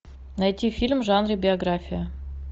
найти фильм в жанре биография